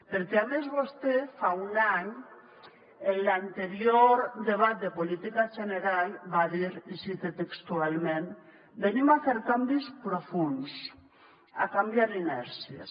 perquè a més vostè fa un any en l’anterior debat de política general va dir i ho cite textualment venim a fer canvis profunds a canviar inèrcies